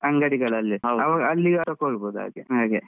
ಅಂಗಡಿಗಳಲ್ಲಿ ಅಲ್ಲಿ ತಕೋಬಹುದ್ ಹಾಗೆ.